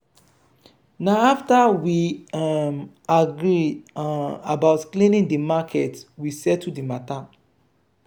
na afta we um argue um about cleaning di market we settle di mata.